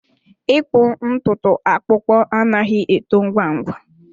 ịkpụ ntutu akpụkpọ anaghị eto ngwa ngwa.